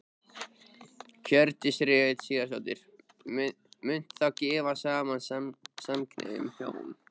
Hjördís Rut Sigurjónsdóttir: Munt þú gefa saman samkynhneigð hjón?